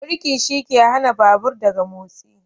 Birki shine hana babur daga motsi.